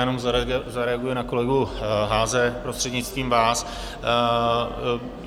Jenom zareaguji na kolegu Haase, prostřednictvím vás.